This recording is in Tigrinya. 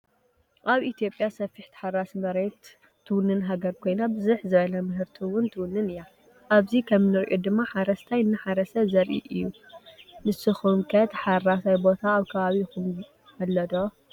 አብ ኢትዮጲያ ሰፊሕ ታሓራሲ መሬት ትዉንን ሃገር ኮይና ብዝሕ ዝበለ ምህርቲ እውን ትውንን እያ። አብዚ ከም እነሪኦ ድማ ሓራስታይ እናሓረሰ ዘሪኢ እዩ። ንስኩም ከ ተሓራሳየ ቦታ አብ ከባቢኩም አሎ ዶ?